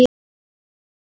í rafrás